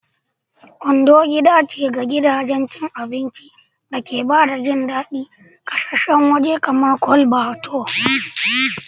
Ondo gida ce ga gidajen cin abinci da ke ba da jin daɗin ƙasashen waje kamar Chole Bhature.